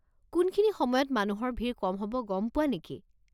কোনখিনি সময়ত মানুহৰ ভিৰ কম হ'ব গম পোৱা নেকি?